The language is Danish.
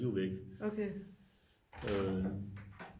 De er væk øh